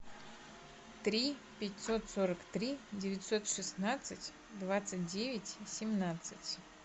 три пятьсот сорок три девятьсот шестнадцать двадцать девять семнадцать